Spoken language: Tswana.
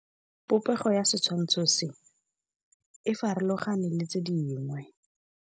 Popêgo ya setshwantshô se, e farologane le tse dingwe.